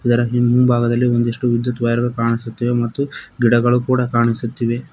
ಆದರ ಹಿಂಭಾಗದಲ್ಲಿ ಒಂದಿಷ್ಟು ವಿದ್ಯುತ್ ವೈರ್ ಗಳು ಕಾಣಿಸುತ್ತಿವೆ ಮತ್ತು ಗಿಡಗಳು ಕೂಡ ಕಾಣಿಸುತ್ತಿವೆ.